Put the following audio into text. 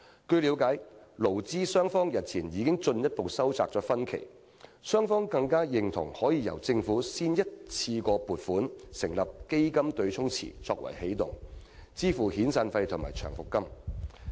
據了解，勞資雙方日前已進一步收窄分歧，雙方更認同可以先由政府一筆過撥款成立"基金對沖池"作為起動，支付遣散費和長期服務金。